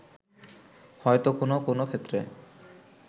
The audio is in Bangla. হয়তো কোনো কোনো ক্ষেত্রে